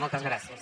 moltes gràcies